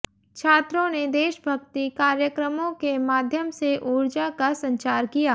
छात्रों ने देशभक्ति कार्यक्रमों के माध्यम से ऊर्जा का संचार किया